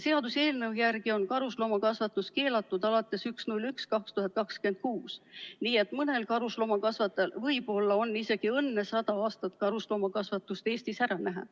Seaduseelnõu järgi on karusloomakasvatus keelatud alates 1. jaanuarist 2026, nii et mõnel karusloomakasvatajal võib-olla on isegi õnne 100 aastat karusloomakasvatust Eestis ära näha.